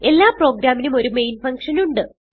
എല്ലാ പ്രോഗ്രാമിനും ഒരു മെയിൻ ഫങ്ഷൻ ഉണ്ട്